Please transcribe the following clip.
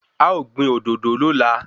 A o gbìn òdòdó lóla